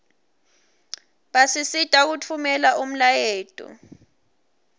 basisita kutfumela umlayeto